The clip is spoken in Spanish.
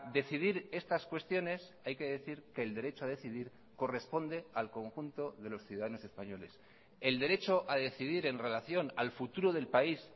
decidir estas cuestiones hay que decir que el derecho a decidir corresponde al conjunto de los ciudadanos españoles el derecho a decidir en relación al futuro del país